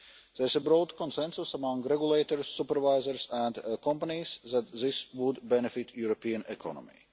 There is a broad consensus among regulators, supervisors and companies that this would benefit the European economy.